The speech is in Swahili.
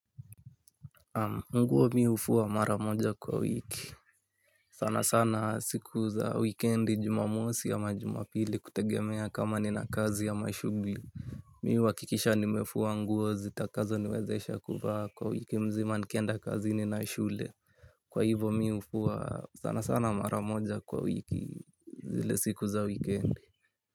Nguo mi hufua mara moja kwa wiki, sana sana siku za wikendi, jumamosi ama jumapili kutegemea kama nina kazi ama shughuli. Mi huhakikisha nimefua nguo zitakazoniwezesha kuvaa kwa wiki mzima nikienda kazini na shule. Kwa hivo, mi hufua sana sana mara moja kwa wiki zile siku za wikiendi.